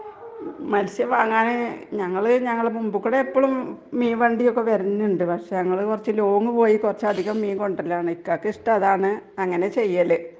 മത്സ്യം വാങ്ങാന് ഞങ്ങള് ,ഞങ്ങളുടെ മുമ്പിൽ കൂടി എപ്പോഴും മീൻ വണ്ടി ഒക്കെ വരാറുണ്ട് .പക്ഷെ ഞങ്ങള് കുറച്ചു ലോങ്‌ പോയി കുറച്ചു അധികം മീൻ കൊണ്ടുവരലാണ് .ഇക്കാക്ക് ഇഷ്ടം അതാണ്.അങ്ങനെ ആണ് ചെയ്യല് .